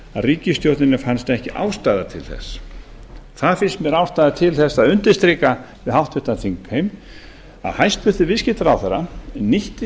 ríkisstjórninni fannst ekki ástæða til þess það finnst mér ástæða til þess að undirstrika við háttvirtan þingheim að hæstvirtur viðskiptaráðherra nýtti